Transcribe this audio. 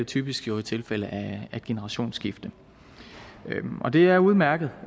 typisk jo i tilfælde af generationsskifte og det er udmærket